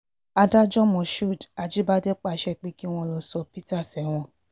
adájọ́ moshood ajíbádé pàṣẹ pé kí wọ́n lọ́ọ́ sọ peter sẹ́wọ̀n